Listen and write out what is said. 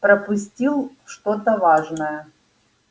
пропустил что-то важное